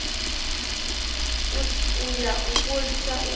si ya u fholisa u